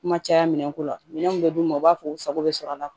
Kuma caya minɛn ko la minɛn minnu bɛ d'u ma u b'a fɔ u sago bɛ sɔrɔ a la